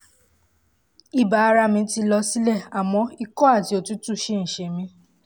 ibà ara mi ti lọ sílẹ̀ àmọ́ ikọ́ àti òtútù ṣì ń ṣe mí